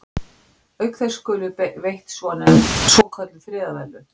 Auk þess skulu veitt svokölluð friðarverðlaun.